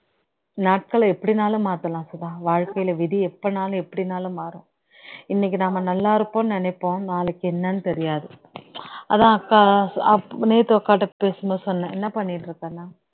நாட்கல எப்படினாலும் மாத்தலாம் சுதா வாழ்கையில் வீதி எப்பனாலும் எப்படினாலும் மாறும் இன்னைக்கு நம்ம நல்லா இருப்போம்நு நினைப்போம் நாளைக்கு என்னன்னு தெரியாது அதான் அக்கா நேத்து அக்கா கிட்ட பேசும் போது சொன்னேன் என்ன பண்ணிட்டு இருக்கேன்னு